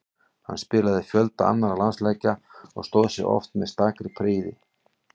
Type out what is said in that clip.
Hann spilaði fjölda annarra landsleikja og stóð sig oft með stakri prýði.